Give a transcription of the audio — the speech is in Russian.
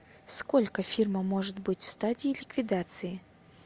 сколько фирма может быть в стадии ликвидации